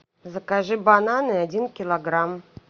закажи бананы один килограмм